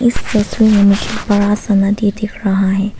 तस्वीर में मुझे बड़ा सा नदी दिख रहा है।